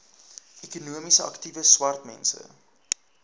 ekonomies aktiewe swartmense